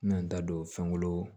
N bɛna n da don fɛnkolon